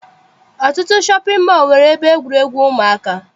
Ọtụtụ shọpị mọọ nwere ebe egwuregwu ụmụaka.